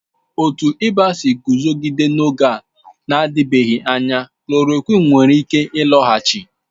Otu ịba si eguzogide n'oge na-adịbeghị anya, klòròkwịn nwere ike ịlọghachi